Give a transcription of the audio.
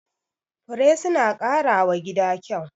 Fure suna ƙara wa gida kyau.